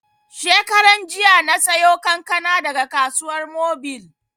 Shekaran jiya na sayo kankana daga Kasuwar Mobil